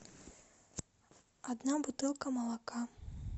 одна бутылка молока